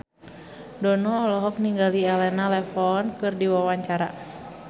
Dono olohok ningali Elena Levon keur diwawancara